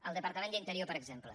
el departament d’interior per exemple